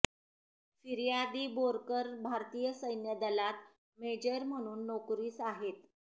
फिर्यादी बोरकर भारतीय सैन्य दलात मेजर म्हणून नोकरीस आहेत